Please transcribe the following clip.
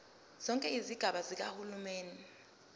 zonke izigaba zikahulumeni